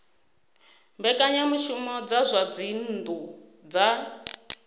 mbekanyamushumo dza zwa dzinnu dza